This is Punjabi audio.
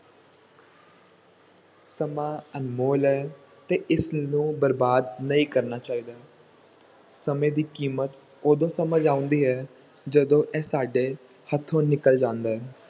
ਸਮਾਂ ਅਨਮੋਲ ਹੈ, ਤੇ ਇਸਨੂੰ ਬਰਬਾਦ ਨਹੀਂ ਕਰਨਾ ਚਾਹੀਦਾ ਸਮੇਂ ਦੀ ਕੀਮਤ ਉਦੋਂ ਸਮਝ ਆਉਂਦੀ ਹੈ ਜਦੋਂ ਇਹ ਸਾਡੇ ਹੱਥੋਂ ਨਿਕਲ ਜਾਂਦਾ ਹੈ।